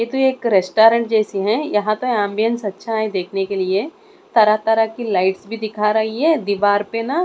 ये तो एक रेस्टोरेंट जैसी हैं यहां पे एंबिएंस अच्छा है देखने के लिए तरह तरह की लाइट्स भी दिख रही है दीवार पे ना--